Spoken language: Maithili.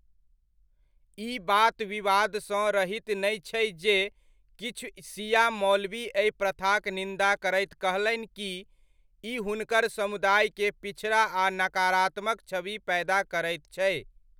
ई बात विवाद सँ रहित नै छै जे किछु शिया मौलवी एहि प्रथाक निन्दा करैत कहलनि कि 'ई हुनकर समुदाय के पिछड़ा आ नकारात्मक छवि पैदा करैत छै'।